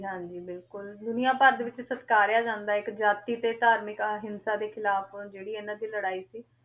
ਹਾਂਜੀ ਬਿਲਕੁਲ ਦੁਨੀਆਂ ਭਰ ਦੇ ਵਿੱਚ ਸਤਿਕਾਰਿਆ ਜਾਂਦਾ ਇੱਕ ਜਾਤੀ ਤੇ ਧਾਰਮਿਕ ਅਹਿੰਸਾ ਦੇ ਖਿਲਾਫ਼, ਜਿਹੜੀ ਇਹਨਾਂ ਦੀ ਲੜਾਈ ਸੀ,